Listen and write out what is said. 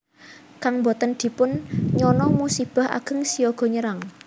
Kang boten dipun nyana musibah ageng siaga nyerang